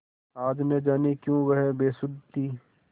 आज न जाने क्यों वह बेसुध थी